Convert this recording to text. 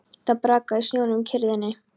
Það brakaði í snjónum í kyrrðinni.